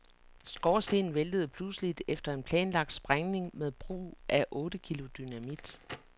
Skorstenen væltede pludseligt efter en planlagt sprængning med brug af otte kilo dynamit.